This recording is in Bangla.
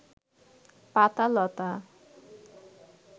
পাতা-লতা